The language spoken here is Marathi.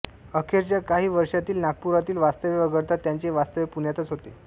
अखेरच्या काही वर्षांतील नागपुरातील वास्तव्य वगळता त्यांचे वास्तव्य पुण्यातच होते